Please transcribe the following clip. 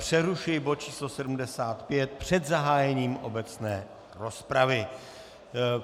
Přerušuji bod číslo 75 před zahájením obecné rozpravy.